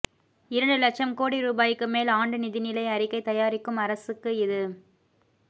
இரண்டு இலட்சம் கோடி ரூபாய்க்கு மேல் ஆண்டு நிதிநிலை அறிக்கை தயாரிக்கும் அரசுக்கு இது